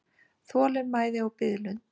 Þolinmæði og biðlund.